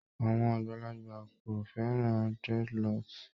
Àwọn àgbàlagbà kò fẹ́ran dreadloocks